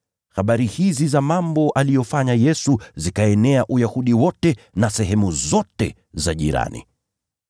Habari hizi za mambo aliyoyafanya Yesu zikaenea Uyahudi wote na sehemu zote za jirani.